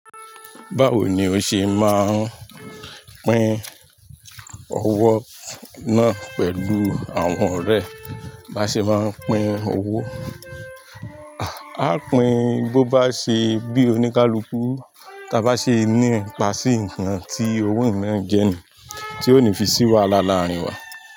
Báwo ni o ṣe máa ń pín owó náà pẹ̀lú àwọn ọ̀rẹ́ bá ṣe máa ń pín owó? A ó pín bó bá ṣe bí oníkálukú ta bá ṣe ní ipá sí nǹkan tí owó ìmọ̀ràn jẹ ni, tí ó ní fi sí wa láàrin wa.